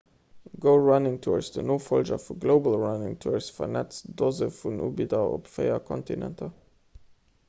go running tours den nofollger vu global running tours vernetzt doze vun ubidder op véier kontinenter